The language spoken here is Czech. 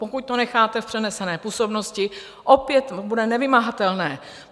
Pokud to necháte v přenesené působnosti, opět bude nevymahatelné.